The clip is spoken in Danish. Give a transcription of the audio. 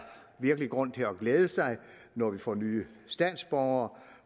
virkelig grund til at glæde sig når vi får nye statsborgere